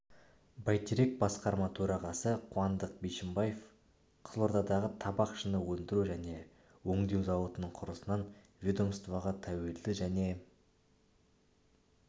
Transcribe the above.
байтерек басқарма төрағасы қуандық бишімбаев қызылордадағы табақ шыны өндіру және өңдеу зауытының құрылысынан ведомствоға тәуелді және